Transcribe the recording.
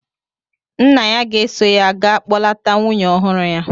Nna ya ga-eso ya ga kpọlata nwunye ọhụrụ ya.